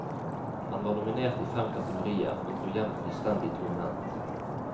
Han var nominert i fem kategorier, men dro hjem fullstendig tomhendt.